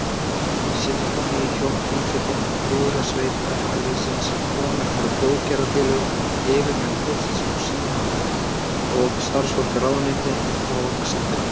Sinfóníuhljómsveitina, Lúðrasveit verkalýðsins, konur frá góðgerðarfélögum, yfirmenn Pósts og síma og starfsfólk ráðuneyta og sendiráða.